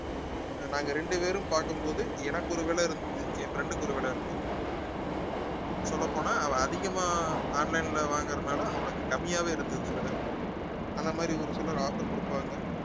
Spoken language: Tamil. நாங்க ரெண்டு பேரும் பார்க்கும் போது எனக்கு ஒரு விலை இருந்து என் friend க்கு ஒரு விலை இருந்தது சொல்லப் போனா அவன் அதிகமா online ல வாங்குறதுனால அவனுக்கு கம்மியாவே இருந்தது விலை அந்த மாதிரி ஒரு சிலர் offer கொடுப்பாங்க